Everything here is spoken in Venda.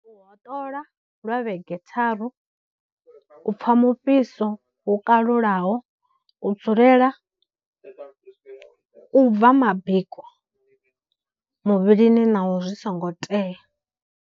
U hoṱola lwa vhege tharu, u pfha mufhiso wu kalulaho, u dzulela u bva mabiko muvhilini naho zwi songo tea.